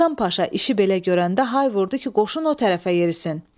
Hasan Paşa işi belə görəndə hay vurdu ki, qoşun o tərəfə yerisin.